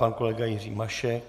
Pan kolega Jiří Mašek.